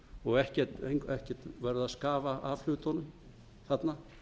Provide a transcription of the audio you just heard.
og ekkert verið að skafa af hlutunum þarna